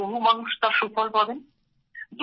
তাহলে বহু মানুষ তার সুফল পাবেন